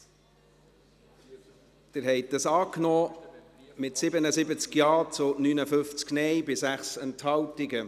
Sie haben den Punkt 6 angenommen, mit 77 Ja- zu 59 Nein-Stimmen bei 6 Enthaltungen.